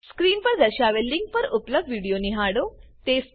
screen પર દર્શાવેલ link પર ઉપલબ્ધ વિડીયો નિહાળો